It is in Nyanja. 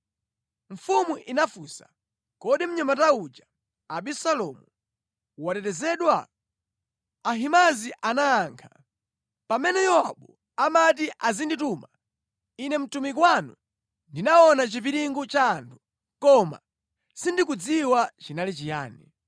Mfumu inafunsa, “Kodi mnyamata uja Abisalomu watetezedwa?” Ahimaazi anayankha, “Pamene Yowabu amati azindituma ine mtumiki wanu ndinaona chipiringu cha anthu, koma sindikudziwa chinali chiyani.”